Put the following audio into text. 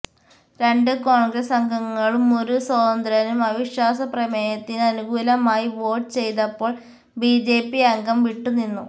രണ്ട് കോണ്ഗ്രസ് അംഗങ്ങളും ഒരു സ്വതന്ത്രനും അവിശ്വാസ പ്രമേയത്തിന് അനുകൂലമായി വോട്ട് ചെയ്തപ്പോള് ബിജെപി അംഗം വിട്ടുനിന്നു